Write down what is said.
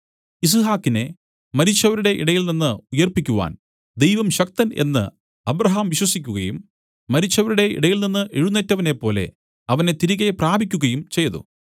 യിസ്ഹാക്കിനെ മരിച്ചവരുടെ ഇടയിൽനിന്ന് ഉയിർപ്പിക്കുവാൻ ദൈവം ശക്തൻ എന്ന് അബ്രാഹാം വിശ്വസിക്കുകയും മരിച്ചവരുടെ ഇടയിൽനിന്ന് എഴുന്നേറ്റവനെപ്പോലെ അവനെ തിരികെ പ്രാപിക്കുകയും ചെയ്തു